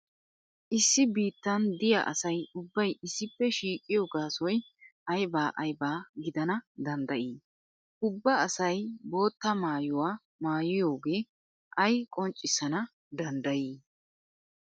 Issi biittan diya asay ubbay issippe shiiqiyo gaasoy ayba ayba gidana danddayi? Ubba asay bootta maayuwa maayiyoge ay qonccissana danddayi?